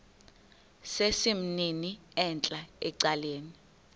sesimnini entla ecaleni